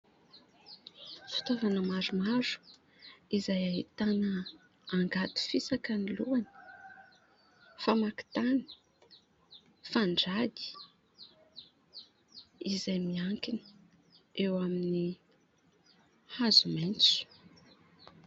Fitaovana maromaro izay ahitana : angady fisaka ny lohany, famaky tany, fandrady ; izay miankina eo amin'ny hazo maitso.